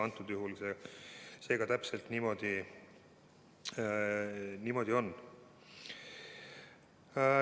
Antud juhul see täpselt niimoodi ongi.